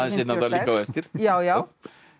eftir já já